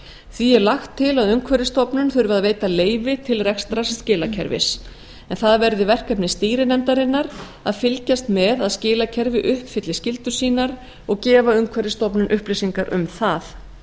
því er lagt til að umhverfisstofnun þurfi að veita leyfi til rekstrar skilakerfis en það verði verkefni stýrinefndarinnar að fylgjast með að skilakerfið uppfylli skyldur sínar og gefa umhverfisstofnun upplýsingar um það